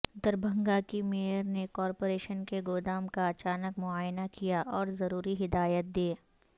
دربھنگہ کی میئر نے کارپوریشن کے گودام کا اچانک معائنہ کیا اور ضروری ہدایات دیں